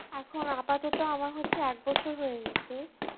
এখন আপাতত আমার হচ্ছে এক বছর হয়ে গেছে।